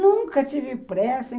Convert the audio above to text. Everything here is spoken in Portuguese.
Nunca tive pressa.